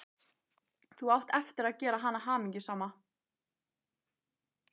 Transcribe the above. Þú átt eftir að gera hana hamingjusama.